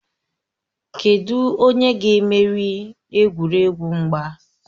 Kedụ onye ga-emeri egwuregwu mgba?